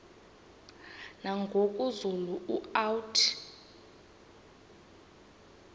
nangoku zulu uauthi